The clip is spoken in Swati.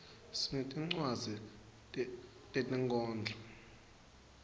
sinetincwadzi tetinkhondlo